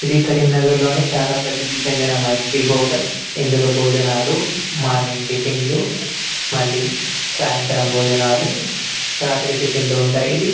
ఇది కరీంనగర్లోని చాలా ప్రసిద్ధి చెందిన మైత్రి హోటల్ ఇందులో భోజనాలు మార్నింగ్ టిఫిన్లు మళ్లీ సాయంత్రం భోజనాలు రాత్రి టిఫిన్లు ఉంటాయి ఇది --